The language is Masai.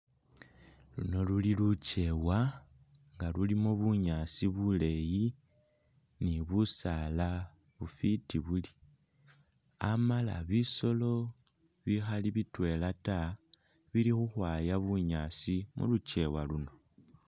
Luno luli lukyewa nga lulimo bunyaasi buleyi ni busala bufiti buri amala bisolo bikhali bitwela ta bili ukhwaya bunyaasi mulu’ kyewa luno.